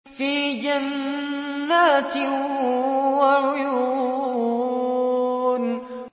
فِي جَنَّاتٍ وَعُيُونٍ